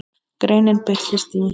Greinin birtist í